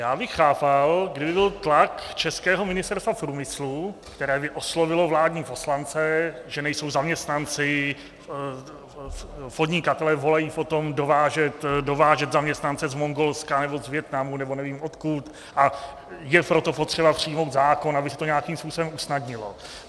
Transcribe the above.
Já bych chápal, kdyby byl tlak českého Ministerstva průmyslu, které by oslovilo vládní poslance, že nejsou zaměstnanci, podnikatelé volají po tom dovážet zaměstnance z Mongolska nebo z Vietnamu nebo nevím odkud, a je proto potřeba přijmout zákon, aby se to nějakým způsobem usnadnilo.